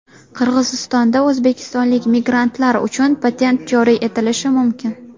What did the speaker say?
Qirg‘izistonda o‘zbekistonlik migrantlar uchun patent joriy etilishi mumkin.